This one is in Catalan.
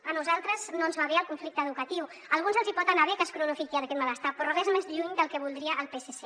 a nosaltres no ens va bé el conflicte educatiu a alguns els hi pot anar bé que es cronifiqui aquest malestar però res més lluny del que voldria el psc